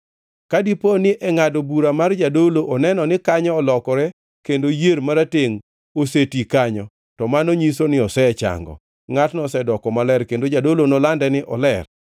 Ka dipo ni e ngʼado bura mar jadolo oneno ni kanyo olokore kendo yier maratengʼ oseti kanyo, to mano nyiso ni osechango. Ngʼatno osedoko maler kendo jadolo nolande ni oler.